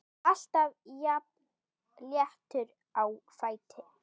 Alltaf jafn léttur á fæti.